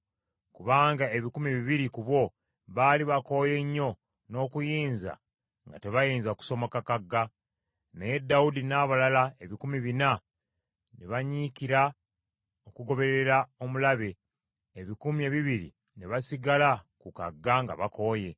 kubanga ebikumi bibiri ku bo baali bakooye nnyo n’okuyinza nga tebayinza kusomoka kagga. Naye Dawudi n’abalala ebikumi bina ne banyiikira okugoberera omulabe, ebikumi ebibiri ne basigala ku kagga nga bakooye.